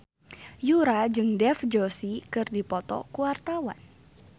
Yura jeung Dev Joshi keur dipoto ku wartawan